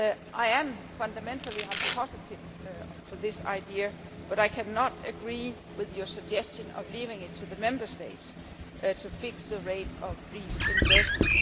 I am fundamentally in favour of this idea, but I cannot agree to your suggestion of leaving it to the Member States to fix the rates of reimbursement.